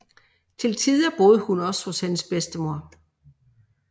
Til tider boede hun også hos hendes bedstemor